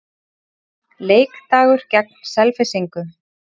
Leikdagur gegn Selfyssingum.